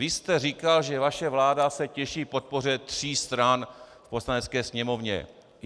Vy jste říkal, že vaše vláda se těší podpoře tří stran v Poslanecké sněmovně.